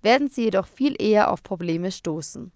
werden sie jedoch viel eher auf probleme stoßen